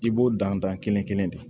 I b'o dan kelen kelen de